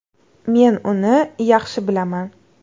Men uni yaxshi bilaman.